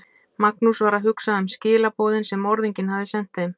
Magnús var að hugsa um skilaboðin sem morðinginn hafði sent þeim.